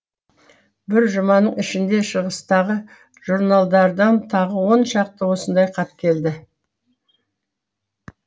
бір жұманың ішінде шығыстағы журналдардан тағы он шақты осындай хат келді